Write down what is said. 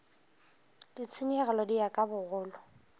ditshenyegelo di ya ka bogolo